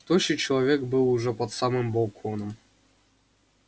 тощий человек был уже под самым балконом